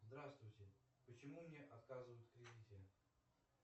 здравствуйте почему мне отказывают в кредите